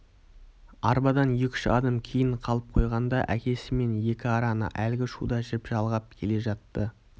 арбадан екі-үш адым кейін қалып қойғанда да әкесі мен екі араны әлгі шуда жіп жалғап келе жатты